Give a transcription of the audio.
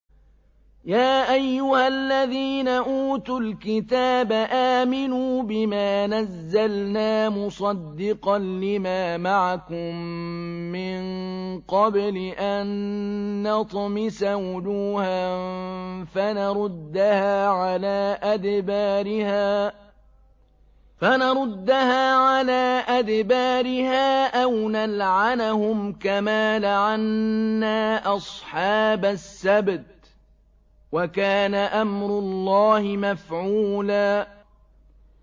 يَا أَيُّهَا الَّذِينَ أُوتُوا الْكِتَابَ آمِنُوا بِمَا نَزَّلْنَا مُصَدِّقًا لِّمَا مَعَكُم مِّن قَبْلِ أَن نَّطْمِسَ وُجُوهًا فَنَرُدَّهَا عَلَىٰ أَدْبَارِهَا أَوْ نَلْعَنَهُمْ كَمَا لَعَنَّا أَصْحَابَ السَّبْتِ ۚ وَكَانَ أَمْرُ اللَّهِ مَفْعُولًا